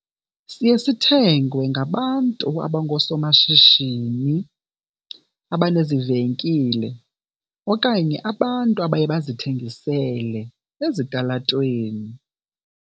Siye sithengwe ngabantu abangoosomashishini abanezivenkile okanye abantu abaye bazithengisele ezitalatweni.